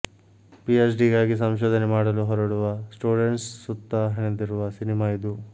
ಪಿಎಚ್ಡಿಗಾಗಿ ಸಂಶೋಧನೆ ಮಾಡಲು ಹೊರಡುವ ಸ್ಟೂಡೆಂಟ್ಸ್ ಸುತ್ತಾ ಹೆಣೆದಿರುವ ಸಿನಿಮಾ ಇದು